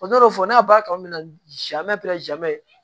Ne b'a fɔ n'a b'a kan na